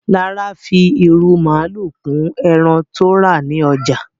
Lára fi irú màalu kún ẹran tó rà ní ọjà